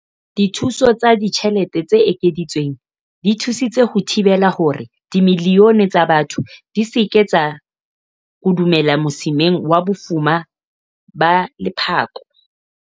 Dithuso tsa ditjhelete tse ekeditsweng di thusitse ho thibela hore dimilione tsa batho di se ke tsa kodumela mosimeng wa bofuma ba lephako.